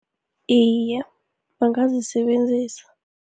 Iye, bangazisebenzisa.